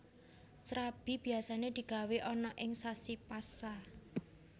Srabi biyasané digawé ana ing sasi Pasa